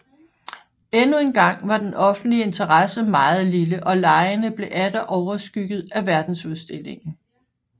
Endnu en gang var den offentlige interesse meget lille og legene blev atter overskygget af verdensudstillingen